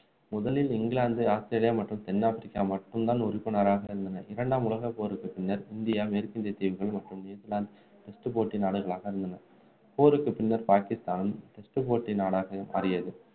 முதலில் England Australia மற்றும் தென் ஆப்பிரிக்கா மட்டும்தான் உறுப்பினராக இருந்தன இரண்டாம் உலகப்போருக்கு பின்னர் இந்தியா மேற்கிந்திய தீவுகள் மற்றும் நியுசிலாந்து test போட்டி நாடுகளாக இருந்தன